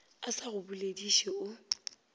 a sa go bolediše o